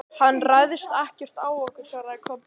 Hann ræðst ekkert á okkur, svaraði Kobbi.